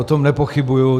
O tom nepochybuji.